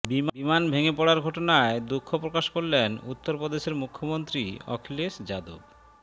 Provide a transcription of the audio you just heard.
বিমান ভেঙে পড়ার ঘটনায় দুঃখপ্রকাশ করলেন উত্তরপ্রদেশের মুখ্যমন্ত্রী অখিলেশ যাদব